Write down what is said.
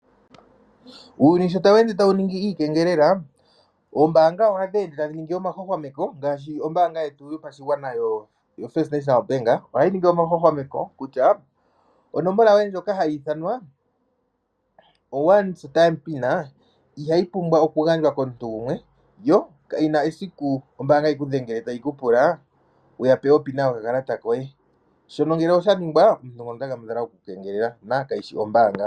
Uuyuni sho tawu ende tawu ningi iikengelela noombanga ngaashi ndjoka yofirst National Bank otayi ningi omahwahwameko mono tayi londodha oshigwana kutya onomola ndjoka yoye yomeholamo ihayi pumbwa oku gandjwa komuntu gumwe ye omuntu gwokombaanga kena esiku ekudhengele teyi kupula ngono omukengeleli.